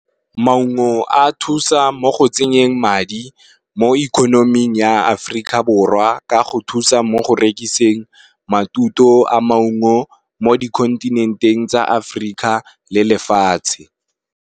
Maungo a thusa mo go tsenyeng madi mo ikhonoming ya Aferika Borwa ka go thusa mo go rekiseng matuto a maungo mo di khontinenteng tsa Aferika le lefatshe.